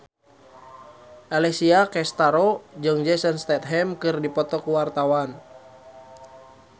Alessia Cestaro jeung Jason Statham keur dipoto ku wartawan